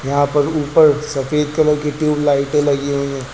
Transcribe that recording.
यहां पर ऊपर सफेद कलर की ट्यूबलाइटे लगी हुई हैं।